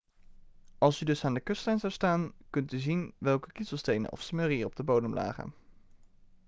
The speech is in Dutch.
als u dus aan de kustlijn zou staan kunt u zien welke kiezelstenen of smurrie er op de bodem lagen